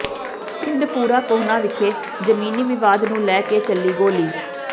ਪਿੰਡ ਭੂਰਾ ਕੋਹਨਾ ਵਿਖੇ ਜ਼ਮੀਨੀ ਵਿਵਾਦ ਨੂੰ ਲੈ ਕੇ ਚੱਲੀ ਗੋਲੀ